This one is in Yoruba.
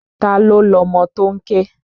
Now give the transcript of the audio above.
Ta ló lọmọ tó ń ké?